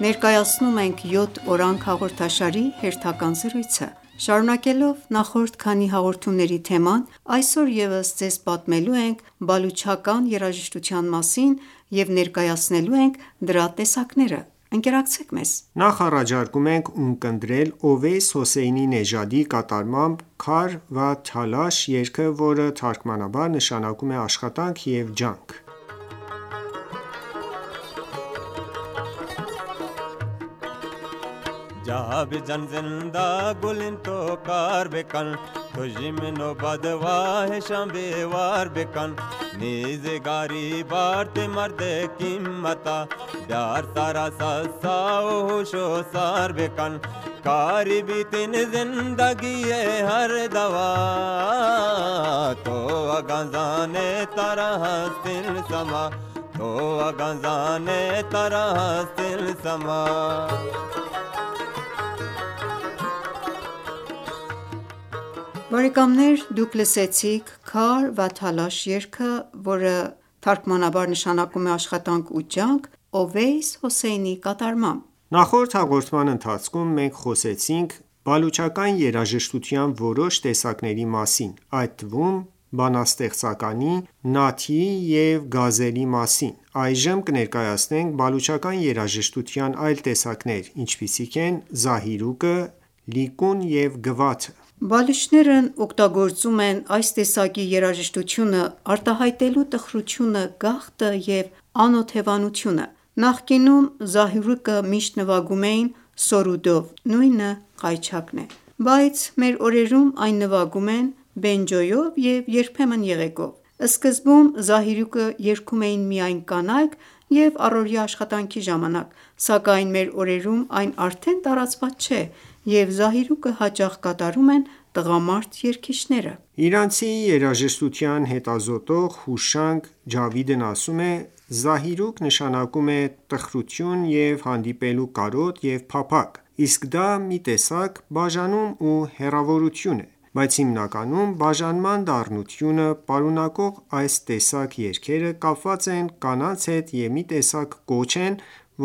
Ներկայացնում ենք «Յոթ օրանգ» հաղորդաշարի հերթական զրույցը: Շարունակելով նախորդ քանի հաղորդումների թեման, այսօր ևս ձեզ պատմելու ենք բալուչական երաժշտության մասին և ներկայացնելու ենք դրա տեսակները։ Նախ առաջարկում ենք ունկնդրել Ովեյս Հոսեյնի Նեժադի կատարմամբ «Քար վա թալաշ» երգը, որ թարգմանաբար նշանակում է աշխատանք ու ջանք: Բարեկամներ դուք լսեցիք «Քար վա թալաշ» երգը Ովեյս Հոսեյնի կատարմամբ: Նախորդ հաղորդման ընթացքում մենք խոսեցինք բալուչական երաժշտության որոշ տեսակների մասին, այդ թվում՝ բանաստեղծականի, նաաթի և գազելի մասին: Այժմ կներկայացնենք բալուչական երաժշտության այլ տեսակներ, ինչպիսիք են Զահիրուկը, Լիկուն և Գվաթը: Բալուչներն օգտագործում են այս տեսակի երաժշտությունը՝ արտահայտելու տխրությունը, գաղթը և անօթևանությունը: Նախկինում զահիրուկը միշտ նվագում էին «Սորուդ»-ով, բայց մեր օրերում այն ​​նվագում են «Բենջոյով» և երբեմն՝ եղեգով։ Սկզբում Զահիրուկը երգում էին միայն կանայք և առօրյա աշխատանքի ժամանակ, սակայն մեր օրերում այն ​​արդեն տարածված չէ և Զահիրուկը հաճախ կատարում են տղամարդ երգիչները։ Իրանցի երաժշտության հետազոտող Հուշանգ Ջավիդն ասում է. «Զահիրուկ նշանակում է տխրության և հանդիպելու կարոտ և փափագ, իսկ դա մի տեսակ բաժանում ու հեռավորություն է: Բայց հիմնականում բաժանման դառնությունը պարունակող այս տեսակ երգերը կապված են կանանց հետ և մի տեսակ կոչ են,